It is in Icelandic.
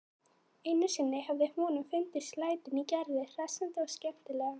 Einu sinni hafði honum fundist lætin í Gerði hressandi og skemmtileg.